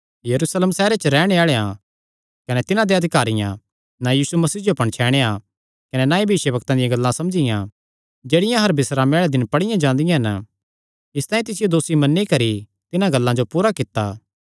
यरूशलेम सैहरे च रैहणे आल़ेआं कने तिन्हां देयां अधिकारियां ना यीशु मसीह जो पणछैणया कने ना ई भविष्यवक्तां दी गल्लां समझियां जेह्ड़ियां हर बिस्रामे आल़े दिन पढ़ियां जांदियां हन इसतांई तिसियो दोसी मन्नी करी तिन्हां गल्लां जो पूरा कित्ता